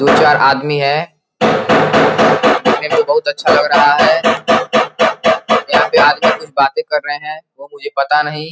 दो चार आदमी है बहुत अच्छा लग रहा है यहां पे आदमी कुछ बातें कर रहे हैं वो मुझे पता नहीं।